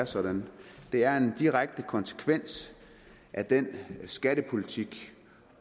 sådan det er en direkte konsekvens af den skattepolitik